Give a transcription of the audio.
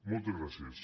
moltes gràcies